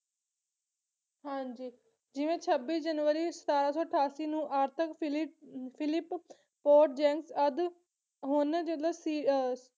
ਜਿਵੇਂ ਛੱਬੀ ਜਨਵਰੀ ਸਤਾਰਾਂ ਸੌ ਅਠਾਸੀ ਨੂੰ ਆਰਥਿਕ ਫਿਲਿ ਫਿਲਿਪ ਪੋਡਜੈਂਕ ਆਦਿ ਹੁਣ ਸੀ ਅਹ